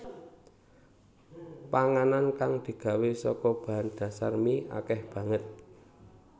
Panganan kang digawé saka bahan dhasar mie akèh banget